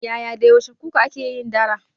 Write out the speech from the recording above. Yaya da yaushe kuka ake yin dara?